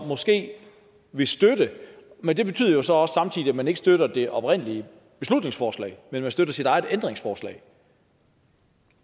måske vil støtte men det betyder jo så samtidig også at man ikke støtter det oprindelige beslutningsforslag men at man støtter sit eget ændringsforslag